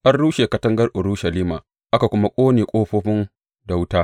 An rushe katangar Urushalima aka kuma ƙone ƙofofin da wuta.